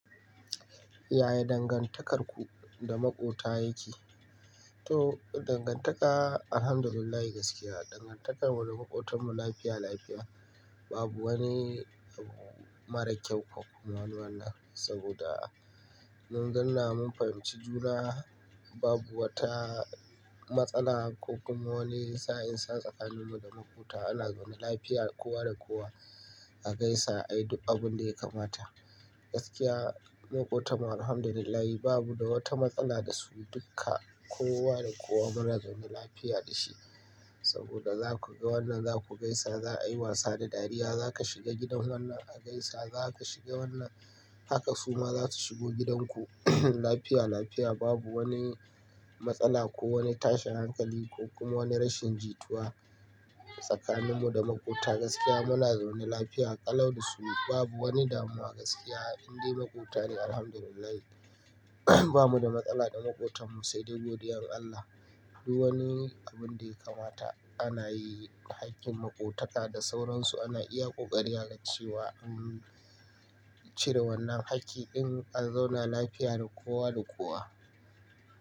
Ya dangantakarku da maƙota yake? To, dangantaka, Alhamdulillah gaskiya dangantakar mu da maƙotan mu lafiya, lafiya. Babu wani mara kyau ko kuma wani wanna saboda mun ganla mun fahimci juna babu wata matsala ko kuma wani sa'in sa tsakanin mu da maƙota. Ana zaune lafiya kowa da kowa, a gaisa, a yi duk abin da ya kamata. Gaskiya maƙotan mu Alhamdulillah babu da wata matsala da su duka, kowa da kowa muna zaune lafiya da shi saboda za ku ga wannan za ku gaisa, za a yi wasa da dariya. Za ka shiga gidan wannan a gaisa, za ka shiga wannan haka suma za su shigo gidan ku. Lafiya, lafiya babu wani matsala ko wani tashin hankali ko kuma wani rashin jituwa tsakanin mu da maƙota. Gaskiya muna zaune lafiya, ƙalau da su babu wani damuwa gaskiya. Inde maƙota ne Alhamdulillah bamu da matsala da maƙotan mu sai dai godiyan Allah. Duk wani abin da ya kamata ana yi. Hakkin maƙotaka da sauransu ana iya ƙoƙari a ga cewa an cire wannan hakki in an zauna lafiya da kowa da kowa.